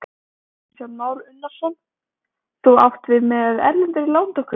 Kristján Már Unnarsson: Þú átt við með erlendri lántöku?